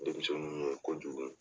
Denmisɛnninw ye kojugu.